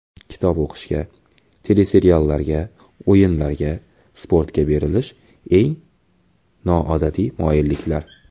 Kitob o‘qishga, teleseriallarga, o‘yinlarga, sportga berilish: eng noodatiy moyilliklar.